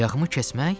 Ayağımı kəsmək?